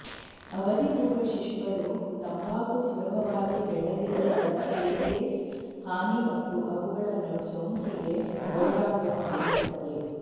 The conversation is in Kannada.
ಅವಧಿಪೂರ್ವ ಶಿಶುಗಳು ತಂಬಾಕು ಸುಲಭವಾಗಿ ಬೆಳೆದಿಲ್ಲದ ಏರ್ವೇಸ್ ಹಾನಿ ಮತ್ತು ಅವುಗಳನ್ನು ಸೋಂಕಿಗೆ ಒಳಗಾಗುವ ಮಾಡುತ್ತದೆ